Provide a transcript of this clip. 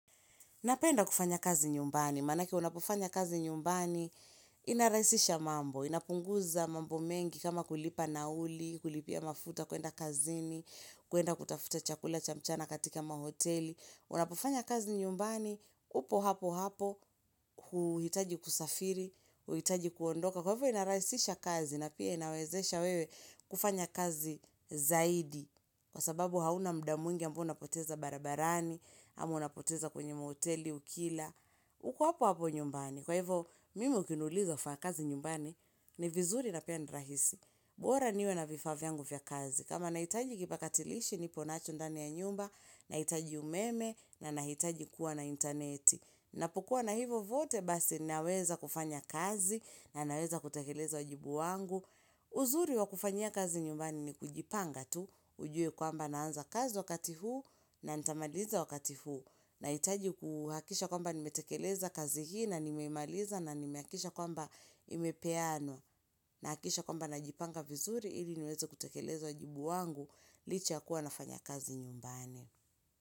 Napenda kufanya kazi nyumbani, manake unapofanya kazi nyumbani, inarahisisha mambo, inapunguza mambo mengi kama kulipa nauli, kulipia mafuta kuenda kazini, kuenda kutafuta chakula cha mchana katika mahoteli. Unapofanya kazi nyumbani, upo hapo hapo, huhitaji kusafiri, huhitaji kuondoka. Kwa hivyo inarahisisha kazi na pia inawezesha wewe kufanya kazi zaidi. Kwa sababu hauna muda mwingi ambao unapoteza barabarani, ama unapoteza kwenye mahoteli, ukila. Uku hapo hapo nyumbani. Kwa hivyo, mimi ukinuliza kufanya kazi nyumbani ni vizuri na pia ni rahisi. Bora niwe na vifaa vyangu vya kazi. Kama nahitaji kipakatilishi, nipo nacho ndani ya nyumba, nahitaji umeme, na nahitaji kuwa na interneti. Napokua na hivyo vyote, basi naweza kufanya kazi, na naweza kutekeleza wajibu wangu. Uzuri wa kufanyia kazi nyumbani ni kujipanga tu. Ujue kwamba naanza kazi wakati huu na nitamaliza wakati huu. Nahitaji kuhakikisha kwamba nimetekeleza kazi hii na nimeimaliza na nimehakikisha kwamba imepeanwa. Nahakisha kwamba najipanga vizuri ili niweze kutekeleza wajibu wangu. Licha ya kuwa nafanya kazi nyumbani.